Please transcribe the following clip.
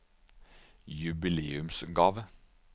jubileumsgave